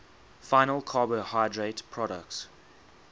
final carbohydrate products